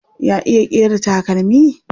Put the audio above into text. Ya iya ƙera takalmi?